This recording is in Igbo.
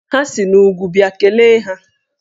Ha si n'úgwú bịa, kelee ha!